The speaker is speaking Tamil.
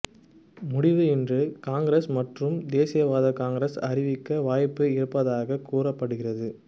முடிவை இன்று காங்கிரஸ் மற்றும் தேசியவாத காங்கிரஸ் அறிவிக்க வாய்ப்பு இருப்பதாக கூறப்படுகிறது